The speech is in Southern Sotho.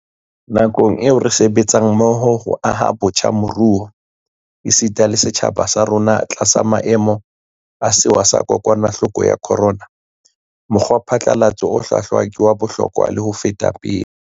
Nakong ena eo re sebetsang mmoho ho aha botjha moruo, esita le setjhaba sa rona, tlasa maemo a sewa sa kokwana hloko ya khorona, mokgwa phatlalatso o hlwahlwa ke wa bohlokwa le ho feta pele.